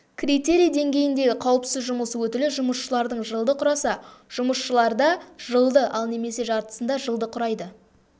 критерий деңгейіндегі қауіпсіз жұмыс өтілі жұмысшылардың жылды құраса жұмысшыларда жылды ал немесе жартысында жылды құрайды